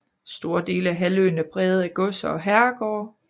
Store dele af halvøen er præget af godser og herregårde